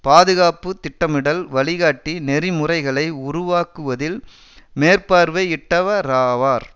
பாதுகாப்பு திட்டமிடல் வழிகாட்டி நெறிமுறைகளை உருவாக்குவதில் மேற்பார்வையிட்டவராவார்